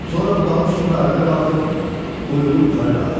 Sonra budağın üstündə ayağa qalxıb quyruğu yuxarı qaldırdı.